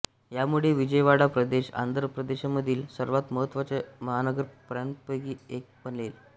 ह्यामुळे विजयवाडा प्रदेश आंध्र प्रदेशमधील सर्वात महत्त्वाच्या महानगरांपैकी एक बनेल